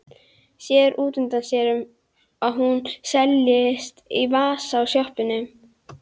Sér útundan sér að hún seilist í vasa á sloppnum.